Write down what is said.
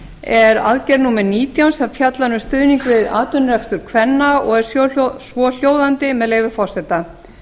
er aðgerð númer nítján sem fjallar um stuðning við atvinnurekstur kvenna og er svohljóðandi með leyfi forseta